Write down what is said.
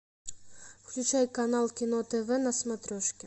включай канал кино тв на смотрешке